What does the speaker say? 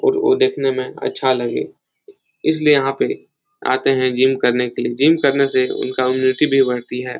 और ओ देखने में अच्छा लगे। इसलिए यहाँ पे आते हैं जिम करने के लिए। जिम करने से उनका उमनिटी भी बढ़ती हैं।